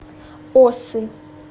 осы